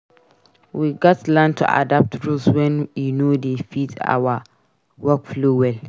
We gats learn to adapt rules wen e no dey fit our workflow well.